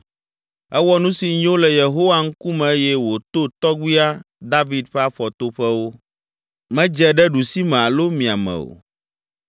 Ewɔ nu si nyo le Yehowa ŋkume eye wòto tɔgbuia, David ƒe afɔtoƒewo. Medze ɖe ɖusime alo miame o.